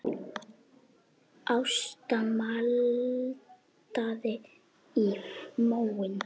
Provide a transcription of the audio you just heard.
Ásta maldaði í móinn.